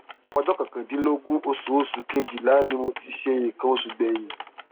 ọjọ kọkàndínlógún oṣù oṣù kejìlá ni mo ti ṣe nǹkan oṣù gbẹyìn